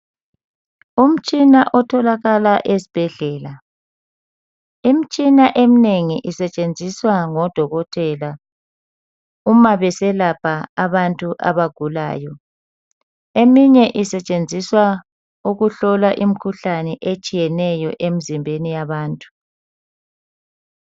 Umtshina otholakala esibhedlela. Imitshina eminengi isetshenziswa ngodokotela uma beselapha abantu abagulayo, eminye isetshenziswa ukuhlola imkhuhlane etshiyeneyo emzimbeni yabantu.